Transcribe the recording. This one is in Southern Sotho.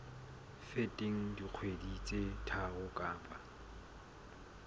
feteng dikgwedi tse tharo kapa